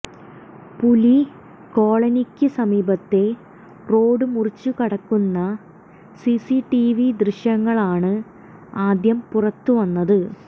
പുലി കോളനിക്ക് സമീപത്തെ റോഡ് മുറിച്ച് കടക്കുന്ന സിസിടിവി ദൃശ്യങ്ങളാണ് ആദ്യം പുറത്തുവന്നത്